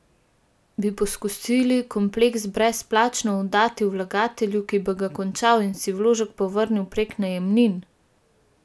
Bi poskusili kompleks brezplačno oddati vlagatelju, ki bi ga končal in si vložek povrnil prek najemnin?